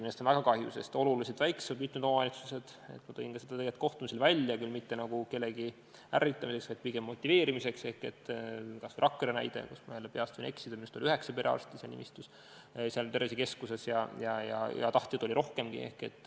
Sellest on väga kahju, sest, nagu ma ka kohtumistel ütlesin, mitte küll kellegi ärritamiseks, vaid pigem motiveerimiseks, on mitmed väiksemad omavalitsused, kas või Rakvere näide, kus oli minu meelest – jälle, peast öeldes võin eksida – üheksa perearsti seal tervisekeskuse nimistus ja tahtjaid oli rohkemgi.